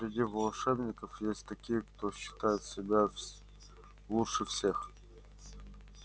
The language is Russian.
среди волшебников есть такие кто считает себя лучше всех